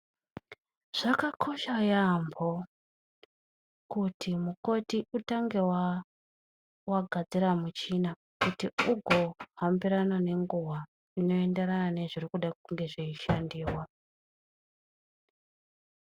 Zvakakosha yaambo kuti mukoti utange wagadzira muchina kuti ugohambirana ngenguwa inoenderana nezvinenge zveishandiwa.